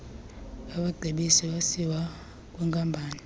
abacebisi basiwa kwwinkampani